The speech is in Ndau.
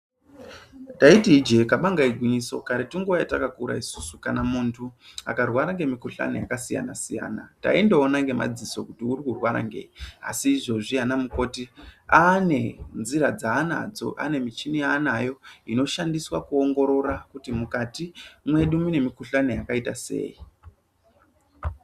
Taiti ijee kabanga igwinyiso, karetu nguva yatakakura isusu kana muntu akarwara ngemikuhlani yakasiyana-siyana, taindoona ngemadziso kuti urikurwara ngei. Asi izvozvi anamukoti aanenzira dzaanadzo ane michini yaanayo inoshandiswa kuongorora kuti mukati mwedu mune mikuhlani yakaita sei.